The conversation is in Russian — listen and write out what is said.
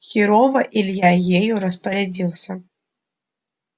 херово илья ею распорядился